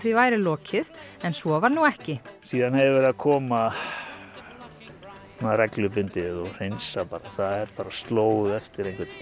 væri lokið en svo var nú ekki síðan hef ég verið að koma reglubundið og hreinsa hérna það er bara slóð eftir einhvern